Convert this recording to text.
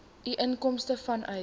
u inkomste vanuit